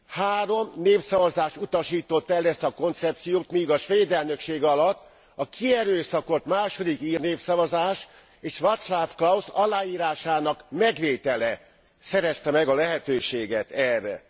Három népszavazás utasította el ezt a koncepciót, míg a svéd elnökség alatt a kierőszakolt második ír népszavazás és Václav Klaus aláírásának megvétele szerezte meg a lehetőséget erre.